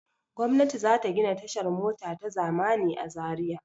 Gwamnati za ta gina tashar mota ta zamani a Zariya.